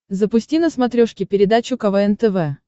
запусти на смотрешке передачу квн тв